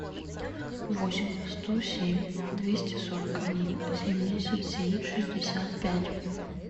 восемь сто семь двести сорок один семьдесят семь шестьдесят пять